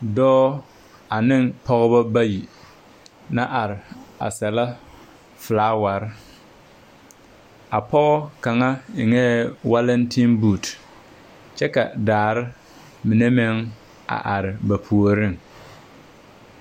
Dɔɔ aneŋ pɔgebɔ bayi la are sɛlɛ folaware. A pɔɔ kaŋa eŋɛɛ walentembuut, kyɛ ka daare mine meŋ a are ba puoriŋ.